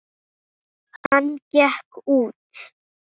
Hvaða gagn gerir þú?